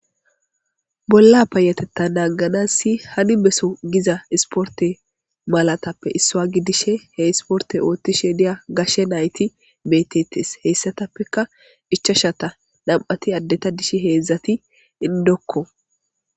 bolla payatetta naanganassi hani beso giza isporte malatappe issua gidishe he isporte oothti sheediya gashe nayti beettettes heyssatappeka ichashata nam7ati addeta dishi heedzdzati indokko